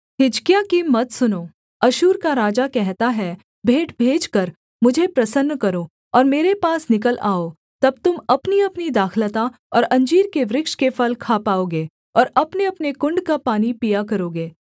हिजकिय्याह की मत सुनो अश्शूर का राजा कहता है भेंट भेजकर मुझे प्रसन्न करो और मेरे पास निकल आओ तब तुम अपनीअपनी दाखलता और अंजीर के वृक्ष के फल खा पाओगे और अपनेअपने कुण्ड का पानी पिया करोगे